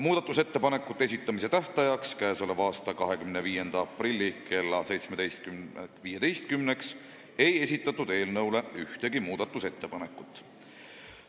Muudatusettepanekute esitamise tähtajaks, k.a 25. aprilliks kella 17.15-ks ei esitatud ühtegi muudatusettepanekut.